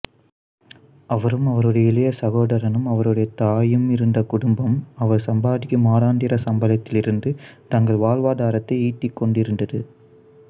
அவரும் அவருடைய இளைய சகோதரனும் அவருடைய தாயும் இருந்த குடும்பம் அவர் சம்பாதிக்கும் மாதாந்திர சம்பளத்திலிருந்து தங்கள் வாழ்வாதாரத்தை ஈட்டிக்கொண்டிருந்தது